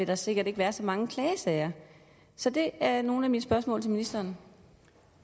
der sikkert ikke være så mange klagesager så det er nogle af mine spørgsmål til ministeren